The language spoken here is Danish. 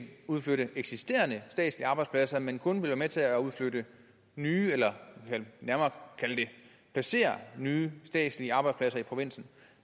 udflytte eksisterende statslige arbejdspladser men kun vil være med til at udflytte nye eller jeg vil nærmere kalde det placere nye statslige arbejdspladser i provinsen